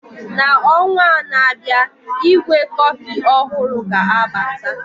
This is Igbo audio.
N'ọnwa na-abịa, ígwè kọfị ọhụrụ ga-abata